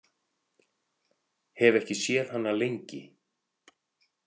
Hef ekki séð hana lengi.